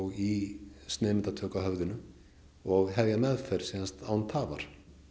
í sneiðmyndatöku á höfðinu og hefja meðferð án tafar